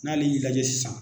N'ale y'i lajɛ sisan